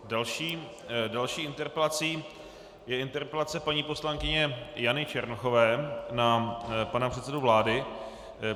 Další interpelací je interpelace paní poslankyně Jany Černochové na pana předsedu vlády.